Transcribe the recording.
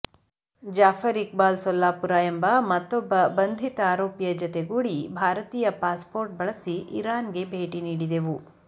ಜಾಫರ್ ಇಕ್ಬಾಲ್ ಸೊಲ್ಲಾಪುರ ಎಂಬ ಮತ್ತೊಬ್ಬ ಬಂಧಿತ ಆರೋಪಿಯ ಜತೆಗೂಡಿ ಭಾರತೀಯ ಪಾಸ್ಪೋರ್ಟ್ ಬಳಸಿ ಇರಾನ್ಗೆ ಭೇಟಿ ನೀಡಿದೆವು